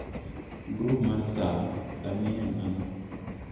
grup mar saa sani en ang'o